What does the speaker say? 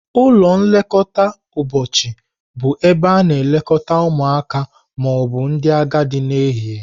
Ụlọ nlekọta ụbọchị bụ ebe a na-elekọta ụmụaka ma ọ bụ ndị agadi n'ehihie.